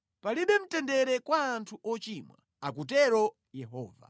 “Palibe mtendere kwa anthu ochimwa,” akutero Yehova.